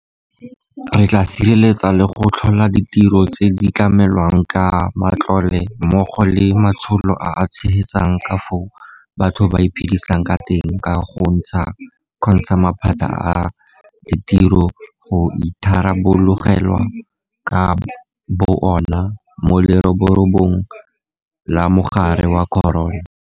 Re tla sireletsa le go tlhola ditiro tse di tlamelwang ka matlole mmogo le matsholo a a tshegetsang ka fao batho ba iphedisang ka teng go kgontsha maphata a ditiro go itharabologelwa ka bo ona mo leroborobong la mogare wa corona.